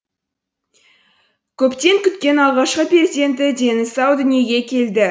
көптен күткен алғашқы перзенті дені сау дүниеге келді